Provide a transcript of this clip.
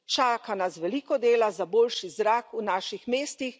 Čaka nas veliko dela za boljši zrak v naših mestih.